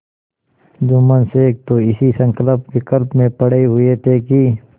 जुम्मन शेख तो इसी संकल्पविकल्प में पड़े हुए थे कि